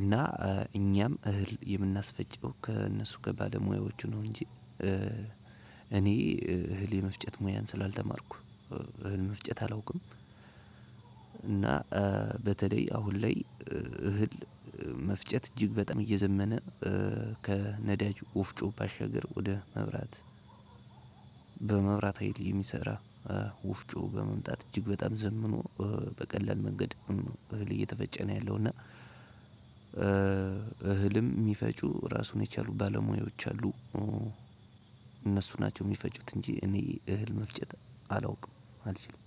እና እኛም እህል የምናስፈጨው ከእነሱ ከባለሙያዎቹ ነው እንጂ እኔ እህል የመፍጨት ሙያን ስላልተማርኩ እህል መፍጨት አላውቅም። እና በተለይ አሁን ላይ እህል መፍጨት እጅግ በጣም እየዘመነ ከነዳጅ ወፍጮ ባሻገር ወደ መብራት በመብራት ሀይል የሚሰራ ወፍጮ በመምጣት እጅግ በጣም ዘምኖ በቀላል መንገድ እህል እየተፈጨ ነው ያለው እና እህልም የሚፈጩ እራሱን የቻሉ ባለሙያዎች አሉ። እነሱ ናቸው የሚፈጩት እንጂ እኔ እህል መፍጨት አላውቅም አልችልም።